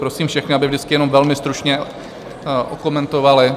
Prosím všechny, aby vždycky jenom velmi stručně okomentovali.